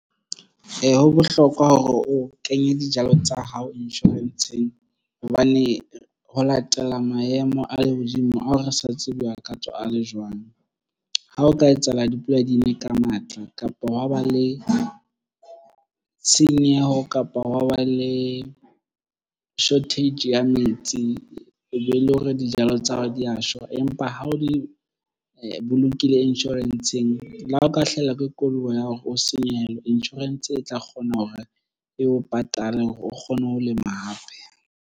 Ee, ho bohlokwa hore o kenye dijalo tsa hao insurance-ng hobane ho latela maemo a lehodimo ao re sa tsebe a ka tswa a le jwang. Ha o ka etsahala dipula di na ka matla kapa wa ba le tshenyeho kapa hwa ba le shortage ya metsi o be le hore dijalo tsa hao di ya shwa empa ha o di bolokile insurance-ng le ha o ka hlahelwa ke koduwa ya hore o senyehelwe insurance e tla kgona hore e o patale hore o kgone ho lema hape.